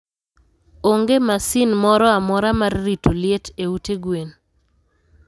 Onge masin moro amora mar rito liet e ute gwen.